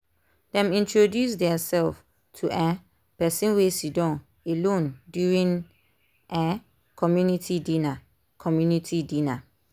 dem introduce their self to um person wey siddon alone during um community dinner. community dinner.